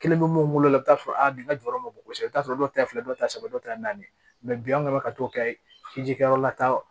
Kelen bɛ mun bolo i bɛ t'a sɔrɔ a nin jɔyɔrɔ ma bon kosɛbɛ i bɛ t'a sɔrɔ dɔw ta filɛ dɔw ta saba dɔw ta ye naani ye bi an bɛ ka t'o kɛ ji kɛ yɔrɔ la taa